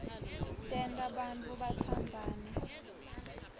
tenta bantfu batsandzane